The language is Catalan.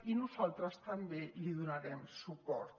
i nosaltres també li donarem suport